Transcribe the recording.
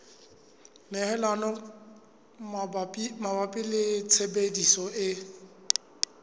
tlhokomelo mabapi le tshebediso e